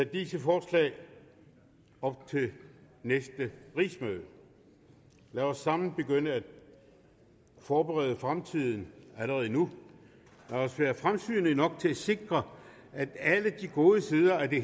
disse forslag op ved det næste rigsmøde lad os sammen begynde at forberede fremtiden allerede nu lad os være fremsynede nok til at sikre at alle de gode sider af det